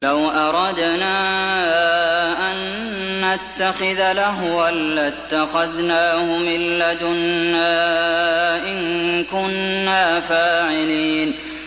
لَوْ أَرَدْنَا أَن نَّتَّخِذَ لَهْوًا لَّاتَّخَذْنَاهُ مِن لَّدُنَّا إِن كُنَّا فَاعِلِينَ